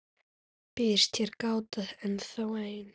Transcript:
Býðst hér gáta ennþá ein,.